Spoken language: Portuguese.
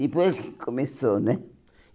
Depois que começou, né?